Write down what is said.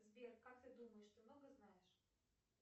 сбер как ты думаешь ты много знаешь